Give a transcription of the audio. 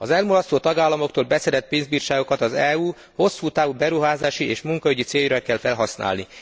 Az elmulasztó tagállamoktól beszedett pénzbírságokat az EU hosszú távú beruházási és munkaügyi céljaira kell felhasználni.